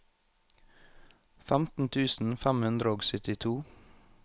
femten tusen fem hundre og syttito